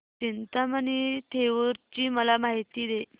चिंतामणी थेऊर ची मला माहिती दे